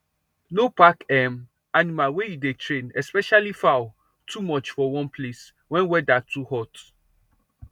no pack um animal wey you dey train especially fowl too much for one place wen weather too hot